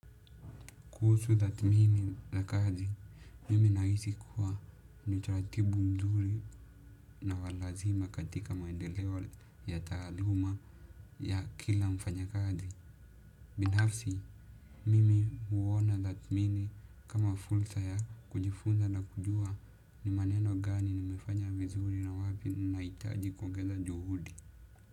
Kuhusu tathmini la kazi, mimi nahisi kuwa ni taratibu mzuri na wa lazima katika maendeleo ya taaluma ya kila mfanyakazi. Binafsi, mimi huona tathmini kama fursa ya kujifunza na kujua ni maneno gani nimefanya vizuri na wapi nahitaji kuongeza juhudi.